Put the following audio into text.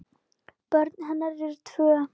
Börn hennar eru tvö.